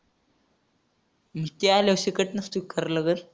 ते आल्यावर इकडनंच करला तर?